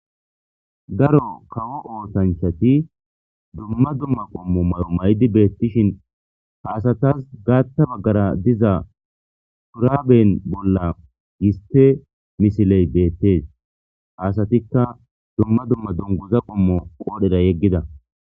Daro kawo oosanchati dumma dumma qommo mayo maydi beettishin ha asatas gaatta baggara diza puraben bolla yiste misiley beettees ha asatikka dumma dumma donguza qommo qoodhera yeggida